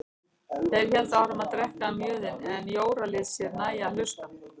Þeir héldu áfram að drekka mjöðinn en Jóra lét sér nægja að hlusta.